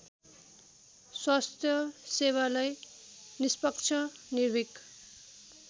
स्वास्थ्यसेवालाई निष्पक्ष निर्भिक